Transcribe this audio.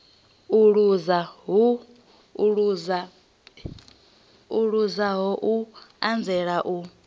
o luzaho u anzela u